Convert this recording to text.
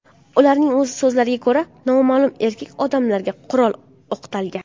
Ularning so‘zlariga ko‘ra, noma’lum erkak odamlarga qurol o‘qtalgan.